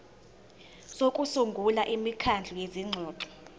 sokusungula imikhandlu yezingxoxo